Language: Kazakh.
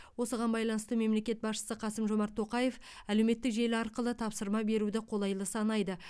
осыған байланысты мемлекет басшысы қасым жомарт тоқаев әлеуметтік желі арқылы тапсырма беруді қолайлы санайды